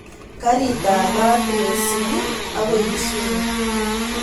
Karit ab maat neisubi akoi kisumu